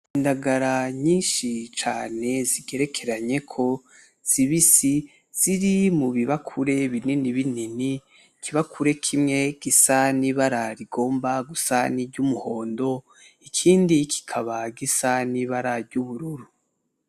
Indagara nyinshi cane zigerekeranyeko zibisi ziri mu bibakure binini binini, ikibakure kimwe gisa n'ibara rigomba gusa n'iry'umuhondo ikindi kikaba gisa n'ibara ry'ubururu.